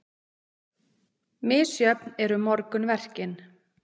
Misjöfn eru morgunverkin.